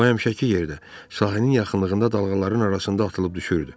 O həmişəki yerdə, sahilin yaxınlığında dalğaların arasında atılıb düşürdü.